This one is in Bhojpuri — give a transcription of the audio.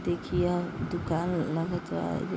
देखिए यह दुकान लगत बा ई --